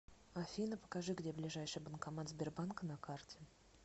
афина покажи где ближайший банкомат сбербанка на карте